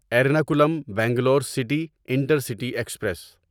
Ernakulam Bangalore city intercity express